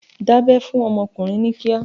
Dabẹ́ fún ọmọkùnrin ní kíá!